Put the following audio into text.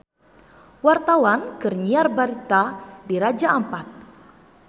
Wartawan keur nyiar berita di Raja Ampat